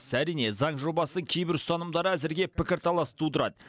әрине заң жобасы кейбір ұстанымдары әзірге пікірталас тудырады